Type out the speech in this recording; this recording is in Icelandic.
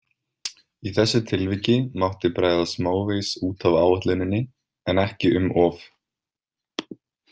Í þessu tilviki mátti bregða smávegis út af áætluninni en ekki um of.